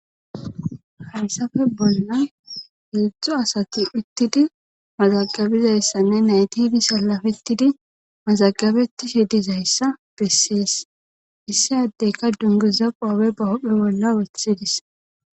hansafe bolla heedzdzu asati uttidi mazagabizayssanne nayti ibi salafettidi mazagabeti shidizayssa bessees issi addeyka dungiza qoabe bahophi bolla weththidis